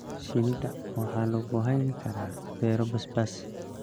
Shinida waxaa lagu hayn karaa beero basbaas.